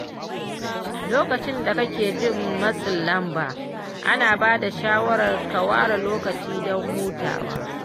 Lokacin da kake jin matsin lamba, ana bada shawarar ka ware lokaci don hutawa.